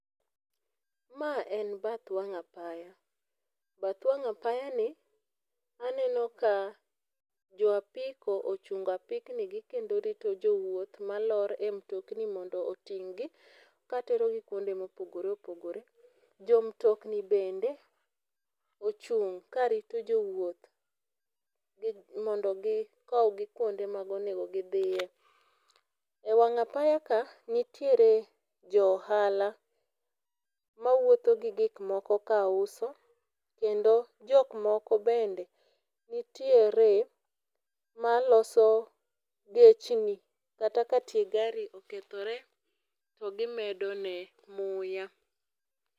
Ma en bath wang' apaya. Bath wang' apaya ni aneno ka jo apiko ochungo apikni gi kendo rito jowuoth malor e mtokni mondo oting'gi katero gi kuonde mopogore opogore. Jo mtokni bende ochung' karito jowuoth mondo gikow gi kuonde monego gidhiye. E wang' apaya kaa nitie joohala mawuotho gi gik moko kauso kendo jok moko bende nitiere maloso gechni kata katie gari okethore to gimedo ne muya.